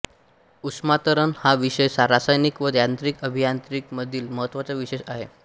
उष्मांतरण हा विषय रासायनिक व यांत्रिक आभियांत्रिकी मधील महत्त्वाचा विषय आहे